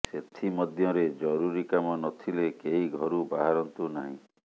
ସେଥି ମଧ୍ୟରେ ଜରୁରୀ କାମ ନଥିଲେ କେହି ଘରୁ ବାହାରନ୍ତୁ ନାହିଁ